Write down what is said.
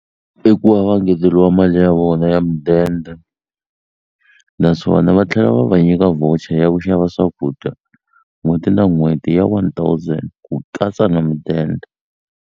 I ku va va ngeteliwa mali ya vona ya mudende naswona va tlhela va va nyika voucher ya ku xava swakudya n'hweti na n'hweti ya one thousand ku katsa na mudende.